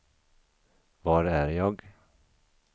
var är jag